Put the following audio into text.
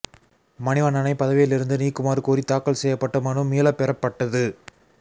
மணிவண்ணனை பதவியில் இருந்து நீக்குமாறு கோரி தாக்கல் செய்யப்பட்ட மனு மீளப் பெறப்பட்டது